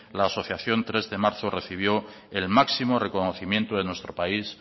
la asociación tres de marzo recibió el máximo reconocimiento de nuestro país